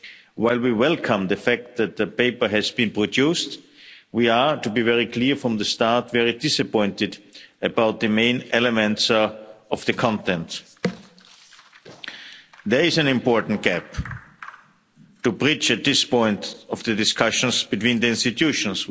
While we welcome the fact that the paper has been produced, we are to be very clear from the start very disappointed about the main elements of the content. There is an important gap to bridge at this point of the discussions between the institutions.